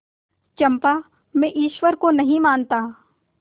चंपा मैं ईश्वर को नहीं मानता